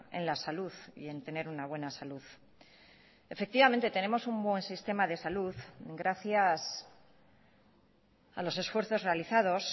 en la salud y en tener una buena salud efectivamente tenemos un buen sistema de salud gracias a los esfuerzos realizados